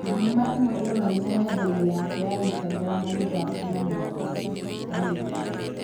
Thenema ĩmwe ĩronania nenda inĩ yake ya Instagram agĩthaka na mwarĩ Gigi